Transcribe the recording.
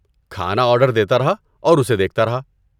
کھانا آرڈر دیتا رہا اور اسے دیکھتا رہا۔